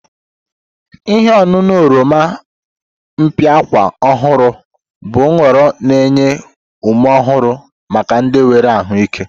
Ihe ọṅụṅụ oroma mpịakwa ọhụrụ bụ nhọrọ na-enye ume ọhụrụ maka ndị nwere ahụike.